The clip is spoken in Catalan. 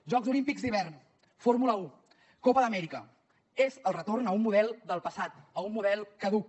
jocs olímpics d’hivern fórmula un copa amèrica és el retorn a un model del passat a un model caduc